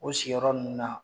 O sigiyɔrɔ ninnu na.,